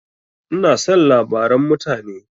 Ina son labaran mutane.